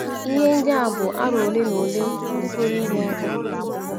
Ihe ndị a bụ aro ole na ole ndị pụrụ inye aka.